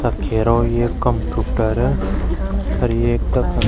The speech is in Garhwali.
तख हेरो एक कंप्यूटर अर एक तख --